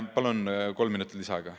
Palun!